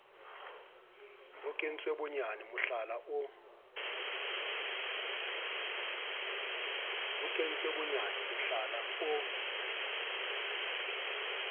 ho kentswe bonyane mohlala o